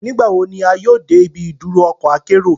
Nigbawo ni a yoo de ibi iduro ọkọ akero?